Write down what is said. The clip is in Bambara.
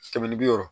Kɛmɛ ni bi wɔɔrɔ